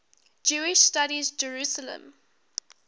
jewish studies jerusalem